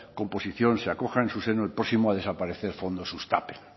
composición se acojan en su seno el próximo a desaparecer el fondo sustapen